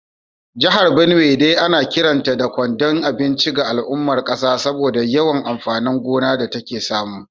Jihar Benue dai ana kiranta da kwandon abinci ga al’ummar kasa saboda yawan amfanin gona da take samu